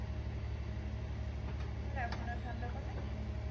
তোমার এখনো ঠান্ডা কমেনি?